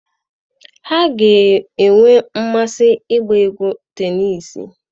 Ha ga-enwe mmasị igwu égwú tenisii.